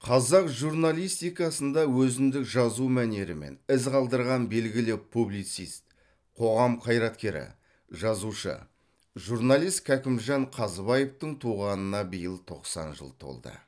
қазақ журналистикасында өзіндік жазу мәнерімен із қалдырған белгілі публицист қоғам қайраткері жазушы журналист кәкімжан қазыбаевтың туғанына биыл тоқсан жыл толды